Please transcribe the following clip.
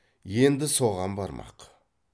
енді соған бармақ